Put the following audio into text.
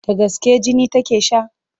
Da gaske jini take sha?